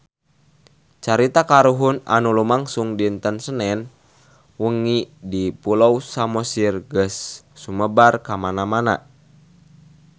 Carita kahuruan anu lumangsung dinten Senen wengi di Pulau Samosir geus sumebar kamana-mana